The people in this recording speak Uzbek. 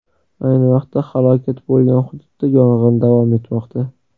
Ayni vaqtda halokat bo‘lgan hududda yong‘in davom etmoqda.